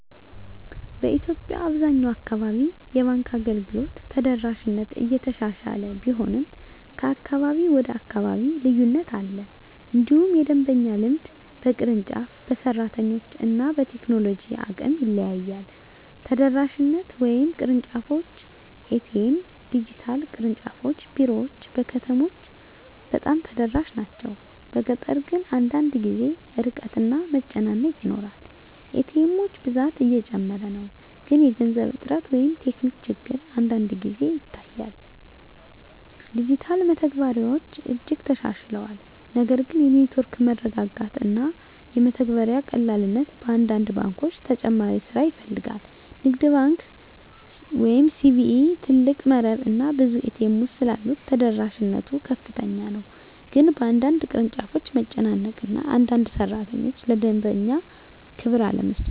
በኢትዮጵያ አብዛኛው አካባቢ የባንክ አገልግሎት ተደራሽነት እየተሻሻለ ቢሆንም ከአካባቢ ወደ አካባቢ ልዩነት አለ። እንዲሁም የደንበኛ ልምድ በቅርንጫፍ፣ በሰራተኞች እና በቴክኖሎጂ አቅም ይለያያል። ተደራሽነት (ቅርንጫፎች፣ ኤ.ቲ.ኤም፣ ዲጂታል) ቅርንጫፍ ቢሮዎች በከተሞች በጣም ተደራሽ ናቸው፤ በገጠር ግን አንዳንድ ጊዜ ርቀት እና መጨናነቅ ይኖራል። ኤ.ቲ. ኤሞች ብዛት እየጨመረ ነው፣ ግን የገንዘብ እጥረት ወይም ቴክኒክ ችግር አንዳንድ ጊዜ ይታያል። ዲጂታል መተግበሪያዎች እጅግ ተሻሽለዋል፣ ነገር ግን የኔትወርክ መረጋጋት እና የመተግበሪያ ቀላልነት በአንዳንድ ባንኮች ተጨማሪ ስራ ይፈልጋል። ንግድ ባንክ ኢትዮጵያ (CBE) ትልቅ መረብ እና ብዙ ኤ.ቲ. ኤሞች ስላሉት ተደራሽነት ከፍተኛ ነው፤ ግን በአንዳንድ ቅርንጫፎች መጨናነቅ እና አንዳንድ ሠራተኞች ለደንበኛ ክብር አለመስጠት